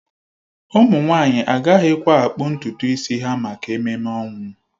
Ụmụ nwanyị agaghịkwa akpụ ntutu isi ha maka ememe ọnwụ